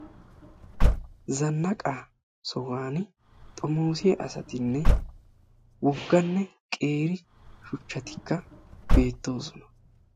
zanaqa sohuwaan xommossiyaa asatinne wogganne qeeri shuchchatikka beettoosona,